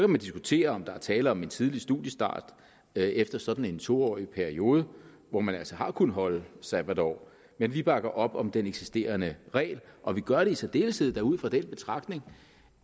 man diskutere om der er tale om en tidlig studiestart efter sådan en to årig periode hvor man altså har kunnet holde sabbatår men vi bakker op om den eksisterende regel og vi gør det i særdeleshed ud fra den betragtning